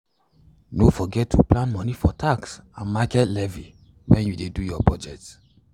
no forget to plan money for tax and market levy when you dey do your budget.